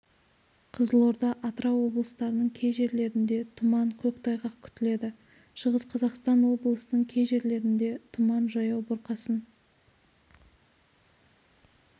қызылорда атырау облыстарының кей жерлерінде тұман көктайғақ күтіледі шығыс қазақстан облысының кей жерлерінде тұман жаяу бұрқасын